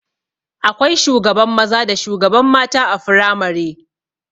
Akwai shugaban maza da shugaban mata a firamare